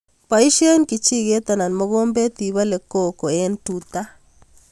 Poishe kijiket anan mokombet ipole koko eng' tuta